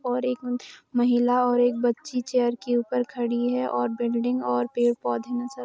और एक महिला और एक बच्ची चेयर के ऊपर खड़ी है और बिल्डिंग और पेड़-पोधे नजर --